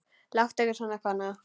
Láttu ekki svona, kona.